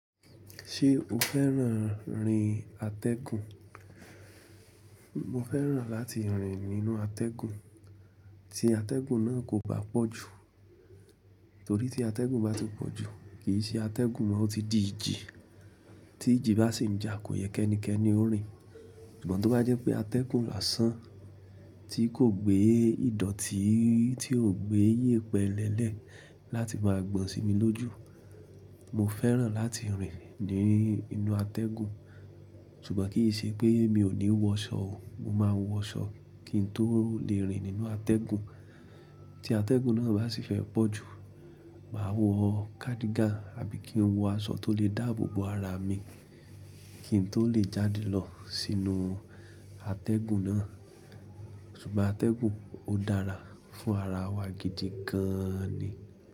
Ṣé o fẹ́ràn rin atẹ́gùn? Mo fẹ́ràn láti rìn nínú atẹ́gùn, tí atẹ́gùn náà kò bá pọ̀ jù. Torí tí atẹ́gùn bá ti pọ̀ jù, kì í ṣe atẹ́gùn mọ́, ó ti di ìjì. Tí ìjì bá sì ń jà kò yẹ́ ẹnikẹ́ni ó rin. Ṣùgbọ́n tó bá jẹ́ pé atẹ́gùn lọ́sàn-án, tí kò gbé ìdọ̀tí, tí ò gbé yèpẹ́ lẹ́lẹ̀ láti máa gbọ̀n sí mi lójú, mo fẹ́ràn láti rìn ní inú atẹ́gùn. Ṣùgbọ́n kì í ṣe pé mi ò ní wọ ṣọ o, mo máa wọ aṣọ kí n tó le rìn nínú atẹ́gùn. Tí atẹ́gùn náà bá sì fẹ́ pọ̀ jù, màá wọ kádígàn àbí kí n wọ aṣọ tó lè dáàbò bo ara mi kí n tó lè jáde lọ sínú atẹ́gùn náà. Ṣùgbọ́n atẹ́gùn ó dára fún ara wa gidi gan ni.